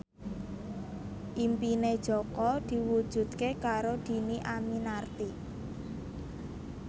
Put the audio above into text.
impine Jaka diwujudke karo Dhini Aminarti